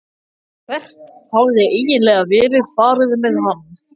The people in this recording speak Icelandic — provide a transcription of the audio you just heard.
Hvert hafði eiginlega verið farið með hann?